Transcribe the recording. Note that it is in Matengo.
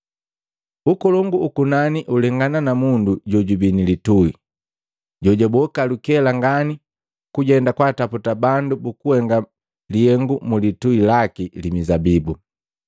“Ukolongu ukunani ulengana na mundu jojubii nilitui, jojaboka lukela ngani kujenda kwaataputa bandu bukuhenga lihengu mulitui laki li mizabibu.